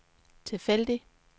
tilfældig